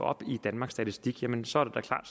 op i danmarks statistik jamen så